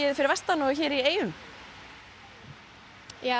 fyrir vestan og hér í eyjum já